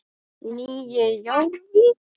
Nýju Jórvík.